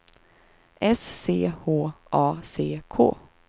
S C H A C K